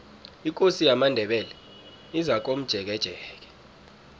ikosi yamandebele izakomjekejeke